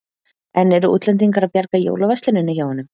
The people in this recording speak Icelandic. En eru útlendingar að bjarga jólaversluninni hjá honum?